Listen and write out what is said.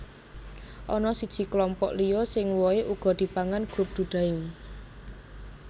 Ana siji klompok liya sing wohé uga dipangan Group Dudaim